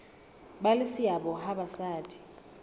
ba le seabo ha basadi